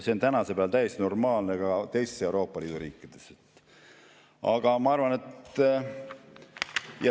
See on tänasel päeval täiesti normaalne ka teistes Euroopa Liidu riikides.